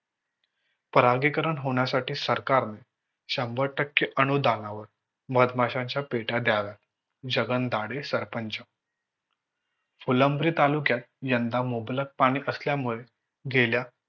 परागीकरण होण्यासाठी सरकार ने शंभर टक्के अनुदानावर मधमाशांच्या पेट्या द्याव्या. जगन दाढें सरपंच. फुलंब्री तालुक्यात यंदा मुबलक पाणी असल्यामुळे गेल्या